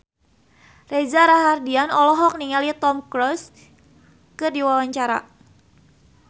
Reza Rahardian olohok ningali Tom Cruise keur diwawancara